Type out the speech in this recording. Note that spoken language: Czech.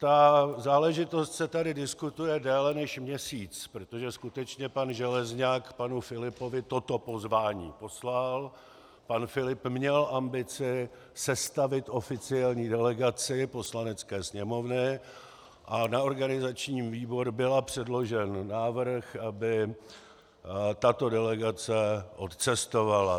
Ta záležitost se tady diskutuje déle než měsíc, protože skutečně pan Železňak panu Filipovi toto pozvání poslal, pan Filip měl ambici sestavit oficiální delegaci Poslanecké sněmovny a na organizační výbor byl předložen návrh, aby tato delegace odcestovala.